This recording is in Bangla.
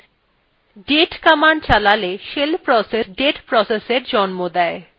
date কমান্ড চালালে shell process একটি date processএর জন্ম দেয়